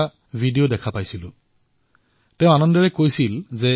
তেওঁ প্ৰসন্নতাৰে কৈছিল যে ৰামায়ণৰ কাহিনীৰ ওপৰত অংকন কৰা তেওঁৰ চিত্ৰ দুই লাখ টকাত বিক্ৰী হৈছে